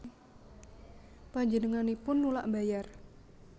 Panjenenganipun nulak mbayar